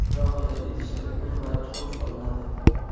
Alohida idishda un va tuxum solinadi.